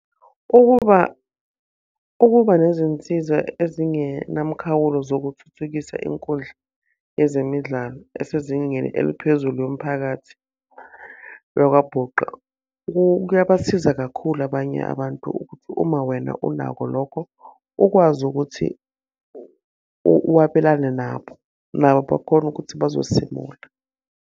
Ukuba ukuba nezinsiza ezingenamkhawulo zokuthuthukisa inkundla yezemidlalo esezingeni eliphezulu yomphakathi yakwaBhuqa, kuyabasiza kakhulu abanye abantu ukuthi uma wena unako lokho ukwazi ukuthi wabelane nabo. Nabo bakhone ukuthi bazosimula.